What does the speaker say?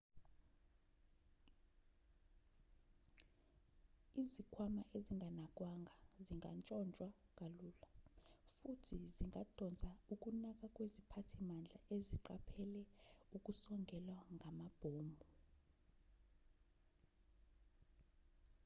izikhwama ezinganakwanga zitshontshwa kalula futhi zingadonsa ukunaka kweziphathimandla eziqaphele ukusongelwa ngamabhomu